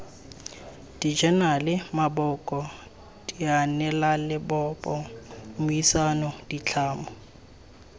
dijenale maboko dianelalebopo mmuisano ditlhamo